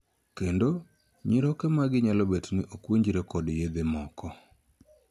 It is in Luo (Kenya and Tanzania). Kendo, nyiroke magi nyalo bet ni ok winjre kod yedhe moko.